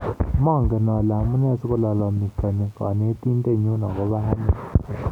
"Manget ale amune sikolalamikani Kanetindet nyu agobo ane